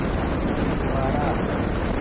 एक गुब्बारा